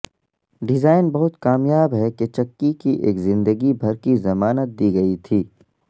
design بہت کامیاب ہے کہ چکی کی ایک زندگی بھر کی ضمانت دی گئی تھی